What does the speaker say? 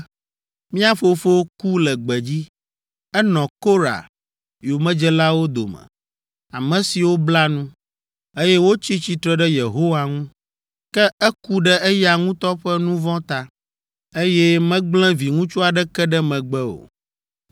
“Mía fofo ku le gbedzi. Enɔ Korah yomedzelawo dome, ame siwo bla nu, eye wotsi tsitre ɖe Yehowa ŋu, ke eku ɖe eya ŋutɔ ƒe nu vɔ̃ ta, eye megblẽ viŋutsu aɖeke ɖe megbe o.